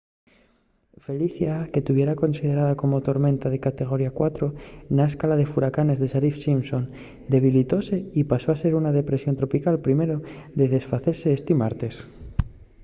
felicia que tuviera considerada como tormenta de categoría 4 na escala de furacanes de saffir-simpson debilitóse y pasó a ser una depresión tropical primero de desfacese esti martes